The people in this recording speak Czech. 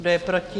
Kdo je proti?